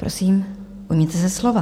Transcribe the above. Prosím, ujměte se slova.